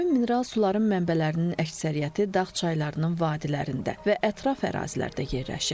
Həmin mineral suların mənbələrinin əksəriyyəti dağ çaylarının vadilərində və ətraf ərazilərdə yerləşir.